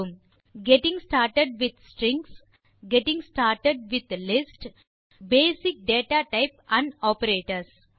getting started with strings getting started with lists மற்றும் basic data types and operators